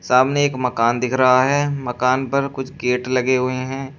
सामने एक मकान दिख रहा है मकान पर कुछ गेट लगे हुए हैं।